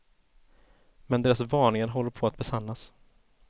Men deras varningar håller på att besannas.